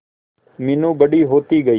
मीनू बड़ी होती गई